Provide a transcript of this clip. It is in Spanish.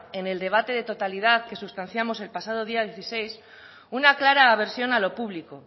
en el debate de totalidad que sustanciamos el pasado día dieciséis una clara aversión a lo público